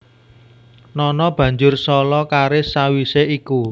Nono banjur solo karis sawisé iku